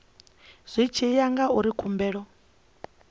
zwi tshi ya ngauri khumbelo